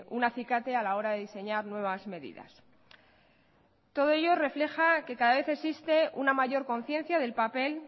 un acicate a la hora de diseñar nuevas medidas todo ello refleja que cada vez existe una mayor conciencia del papel